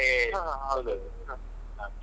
ಹಾ ಹಾ ಹೌದೌದು ಹಾ.